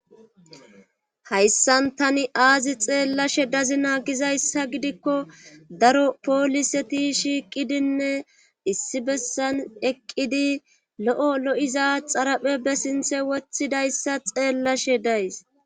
hayssan tani aazi xeellashe dazi naagizayssa gidikko daro pooliseti shiiqidinne issi bessan eqqidi lo7o lo7iza xaraphe be sinthe woththidayssa xeellashe days